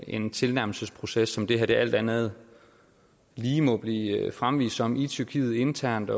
en tilnærmelsesproces som det her alt andet lige må blive fremvist som i tyrkiet internt